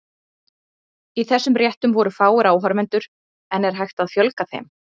Í þessum réttum voru fáir áhorfendur, en er hægt að fjölga þeim?